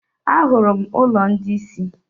Ahụrụ m ụlọ ndị isi.